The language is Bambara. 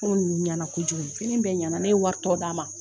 N ko ninnu ɲɛna kojugu fini bɛɛ ɲana ne ye wari tɔ d'a ma